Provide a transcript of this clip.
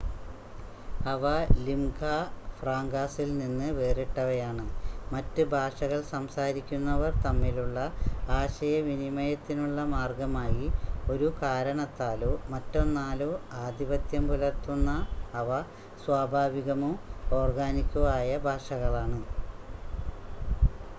അവ ലിംഗാ ഫ്രാങ്കാസിൽ നിന്ന് വേറിട്ടവയാണ് മറ്റ് ഭാഷകൾ സംസാരിക്കുന്നവർ തമ്മിലുള്ള ആശയവിനിമയത്തിനുള്ള മാർഗമായി ഒരു കാരണത്താലോ മറ്റൊന്നാലോ ആധിപത്യം പുലർത്തുന്ന അവ സ്വാഭാവികമോ ഓർഗാനിക്കോ ആയ ഭാഷകളാണ്